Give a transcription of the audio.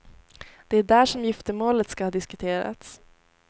Det är där som giftermålet ska ha diskuterats.